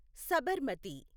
Sabarmati